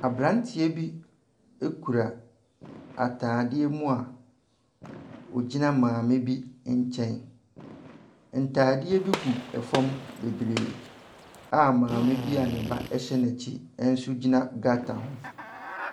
Aberanteɛ bi kura atadeɛ mu a ɔgyina maame bi nkyɛn. Ntadeɛ bi gu fam bebree a maame bi a ne ba hyɛ n'akyi nso gyina gutter ho.